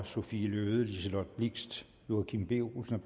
sophie løhde liselott blixt joachim b olsen